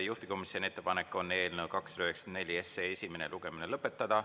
Juhtivkomisjoni ettepanek on eelnõu 294 esimene lugemine lõpetada.